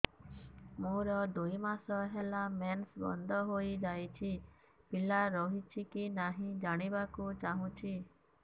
ମୋର ଦୁଇ ମାସ ହେଲା ମେନ୍ସ ବନ୍ଦ ହେଇ ଯାଇଛି ପିଲା ରହିଛି କି ନାହିଁ ଜାଣିବା କୁ ଚାହୁଁଛି